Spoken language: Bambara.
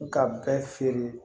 Ka bɛɛ feere